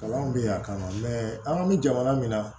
Kalan bɛ yan kama mɛ an bɛ jamana min na